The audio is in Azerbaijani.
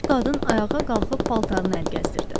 Gənc qadın ayağa qalxıb paltarını əl gəzdirdi.